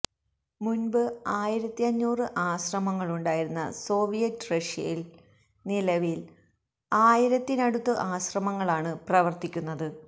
മുൻപ് ആയിരത്തി അഞ്ഞൂറ് അശ്രമങ്ങളുണ്ടായിരുന്ന സോവിയറ്റ് റഷ്യയിൽ നിലവിൽ ആയിരത്തിനടുത്ത് ആശ്രമങ്ങളാണ് പ്രവർത്തിക്കുന്നത്